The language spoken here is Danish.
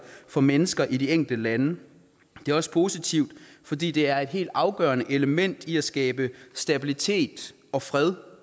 for mennesker i de enkelte lande det er også positivt fordi det er et helt afgørende element i at skabe stabilitet og fred